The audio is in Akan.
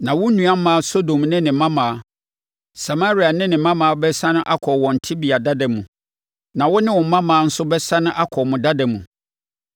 Na wo nuammaa Sodom ne ne mmammaa, Samaria ne ne mmammaa bɛsane akɔ wɔn tebea dada mu, na wo ne wo mmammaa nso bɛsane akɔ mo dada mu.